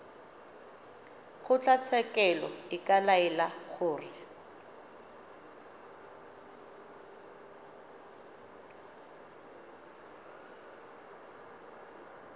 kgotlatshekelo e ka laela gore